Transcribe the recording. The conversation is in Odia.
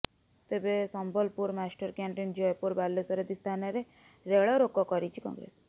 ତେବେ ସମ୍ବଲପୁର ମାଷ୍ଟରକ୍ୟାଂଟିନ ଜୟପୁର ବାଲେଶ୍ୱର ଆଦି ସ୍ଥାନରେ ରେଳରୋକ କରିଛି କଂଗ୍ରେସ